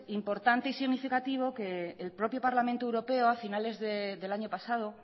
importante y significativo que el propio parlamento europeo a finales del año pasado